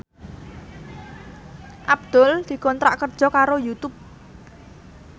Abdul dikontrak kerja karo Youtube